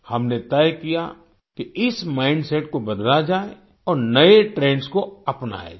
हमने तय किया कि इस माइंडसेट को बदला जाए और नए ट्रेंड्स को अपनाया जाए